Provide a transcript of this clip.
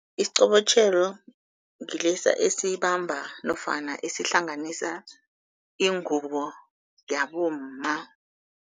Isiqobotjhelo ngilesa esibamba nofana esihlanganisa ingubo yabomma.